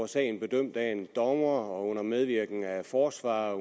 sagen bedømt af en dommer og under medvirken af forsvarer og